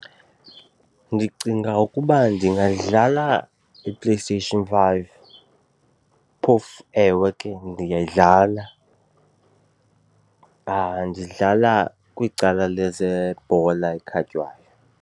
Ndicinga ukuba ndingadlala iPlayStation five. Phofu, ewe ke ndingayidlala ndidlala kwicala lezebhola ekhatywayo.